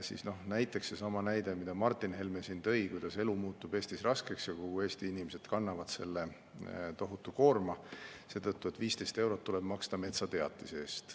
Seesama näide, mida Martin Helme siin tõi, kuidas elu muutub Eestis raskeks ja kõik Eesti inimesed kannavad selle tohutu koorma, seetõttu et 15 eurot tuleb maksta metsateatise eest.